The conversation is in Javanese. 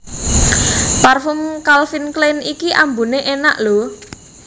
Parfum Calvin Klein iki ambune enak lho